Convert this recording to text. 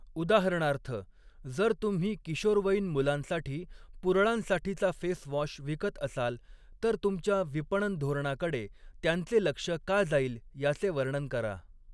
उदाहरणार्थ, जर तुम्ही किशोरवयीन मुलांसाठी पुरळांसाठीचा फेस वॉश विकत असाल, तर तुमच्या विपणन धोरणाकडे त्यांचे लक्ष का जाईल याचे वर्णन करा.